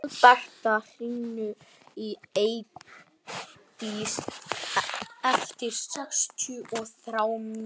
Alberta, hringdu í Eidísi eftir sextíu og þrjár mínútur.